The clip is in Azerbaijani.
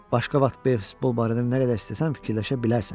Başqa vaxt beysbol barədə nə qədər istəsən fikirləşə bilərsən.